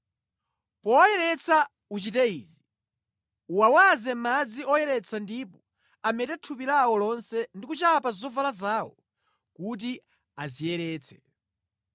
Powayeretsa uchite izi: uwawaze madzi oyeretsa ndipo amete thupi lawo lonse ndi kuchapa zovala zawo kuti adziyeretse.